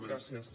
gràcies